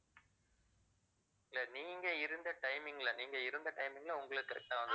இல்லை நீங்க இருந்த timing ல நீங்க இருந்த timing ல உங்களுக்கு correct ஆ வந்து~